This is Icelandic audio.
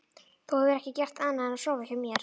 Þú hefur ekki gert annað en að sofa hjá mér.